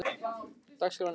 Hávar, hvernig er dagskráin?